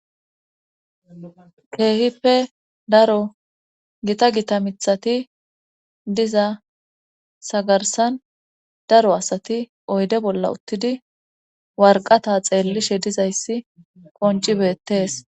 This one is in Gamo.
Keehippe daro gita gita mithati diza sagarsan daro asati oyde bolla uttidi warqata xeellishe dizayssi qoncibettees.